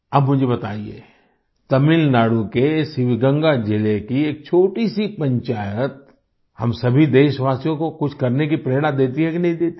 अब मुझे बताइये तमिलनाडु के शिवगंगा जिले की एक छोटी सी पंचायत हम सभी देशवासियों को कुछ करने की प्रेरणा देती है कि नहीं देती है